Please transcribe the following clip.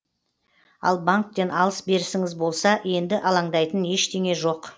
ал банктен алыс берісіңіз болса енді алаңдайтын ештеңе жоқ